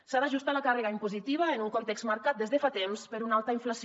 s’ha d’ajustar la càrrega impositiva en un context marcat des de fa temps per una alta inflació